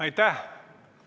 Aitäh!